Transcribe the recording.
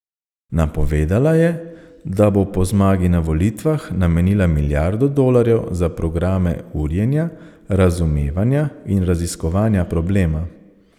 Napovedala je, da bo po zmagi na volitvah namenila milijardo dolarjev za programe urjenja, razumevanja in raziskovanja problema.